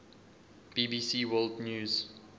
bbc world news